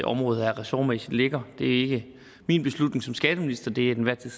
område her ressortmæssigt ligger det er ikke min beslutning som skatteminister det er den til